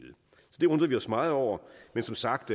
det undrer vi os meget over men som sagt